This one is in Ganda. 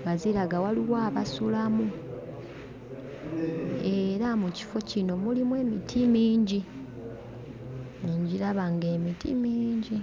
nga ziraga waliwo abasulamu, era mu kifo kino mulimu emiti mingi, ngiraba ng'emiti mingi.